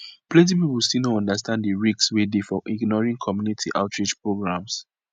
plenty people still no understand the risk wey dey for ignoring community outreach programs